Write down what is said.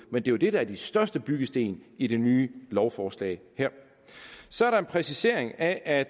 men det er det der er de største byggesten i det nye lovforslag her så er der en præcisering af at